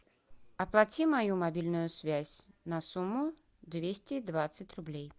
оплати мою мобильную связь на сумму двести двадцать рублей